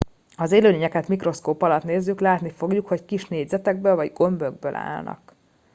ha az élőlényeket mikroszkóp alatt nézzük látni fogjuk hogy kis négyzetekből vagy gömbökből állnak